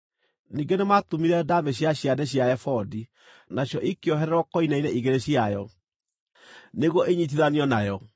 Ningĩ nĩmatumire ndaamĩ cia ciande cia ebodi, nacio ikĩohererwo koine-inĩ igĩrĩ ciayo, nĩguo inyiitithanio nayo.